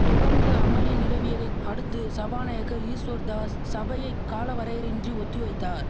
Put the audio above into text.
தொடந்து அமளி நிலவியதைத் அடுத்து சபாநாயக்கர் ஈஸ்வர்தாஸ் சபையை காலவரையரையின்றி ஒத்தி வைத்தார்